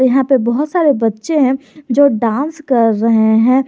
यहां पे बहुत सारे बच्चे हैं जो डांस कर रहे हैं।